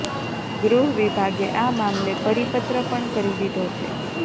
ગૃહ વિભાગે આ મામલે પરિપત્ર પણ કરી દીધો છે